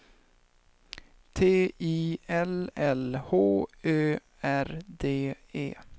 T I L L H Ö R D E